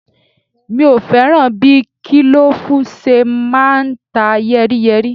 Mi ò fẹ́ràn bí kílòfù ṣe máa ń ta yẹ́ríyẹ́rí